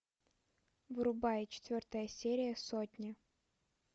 врубай четвертая серия сотня